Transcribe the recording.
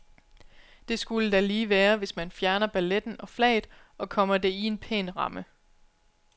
Det skulle da lige være, hvis man fjerner balletten og flaget og kommer det i en pæn ramme.